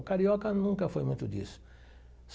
O Carioca nunca foi muito disso.